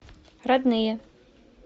родные